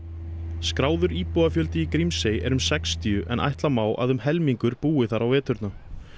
skráður íbúafjöldi í Grímsey er um sextíu en ætla má að um helmingurinn búi þar á veturna